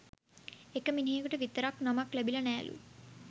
එක මිනිහෙකුට විතරක් නමක් ලැබිල නෑලු